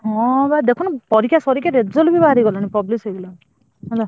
ହଁ ବା ଦେଖୁନୁ ପରୀକ୍ଷା ସାରିକି result ବି ବାହାରିଗଲାଣି publish ବି ହେଇଗଲାଣି ହେଲା।